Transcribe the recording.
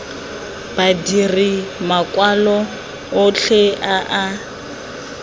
badiri makwalo otlhe a a